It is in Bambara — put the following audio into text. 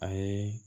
A ye